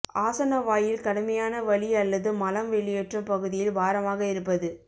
ஆசன வாயில் கடுமையான வலி அல்லது மலம் வெளியேற்றும் பகுதியில் பாரமாக இருப்பது